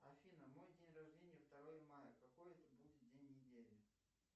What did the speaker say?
афина мой день рождения второе мая какой это будет день недели